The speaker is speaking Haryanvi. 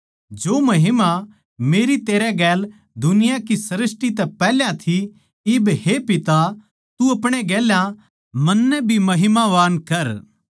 जो महिमा मेरी तेरै गेल दुनिया की सृष्टी तै पैहल्या थी इब हे पिता तू अपणे गेल्या मन्नै भी महिमावान कर